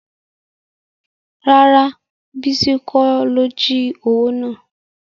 Rárá bísí kọ́ ló jí owó náà